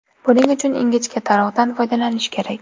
Buning uchun ingichka tarog‘dan foydalanish kerak.